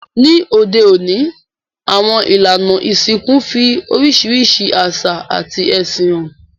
Ní òde ọ̀ní, àwon ìlànà ìsìnkú n fi orísìrísi àsà àti ẹ̀sìn han